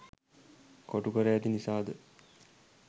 කොටු කර ඇති නිසා ද?